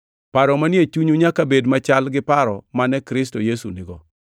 Paro manie chunyu nyaka bed machal gi paro mane Kristo Yesu nigo.